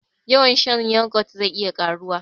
Yawan shan yoghurt zai iya karuwa